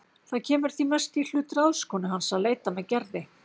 Það kemur því mest í hlut ráðskonu hans að leita með Gerði.